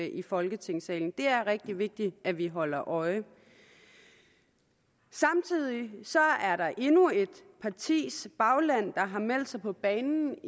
i folketingssalen det er rigtig vigtigt at vi holder øje samtidig er der endnu et partis bagland der har meldt sig på banen